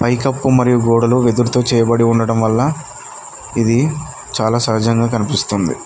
ఈ కప్ మరియు గోడలు వెదురుతూ చేయబడి ఉండడం వల్ల ఇది చాలా సహజంగా కనిపిస్తుంది.